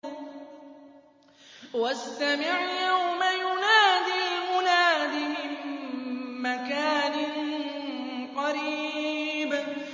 وَاسْتَمِعْ يَوْمَ يُنَادِ الْمُنَادِ مِن مَّكَانٍ قَرِيبٍ